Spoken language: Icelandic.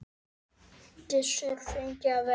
Gissur fengi að velja.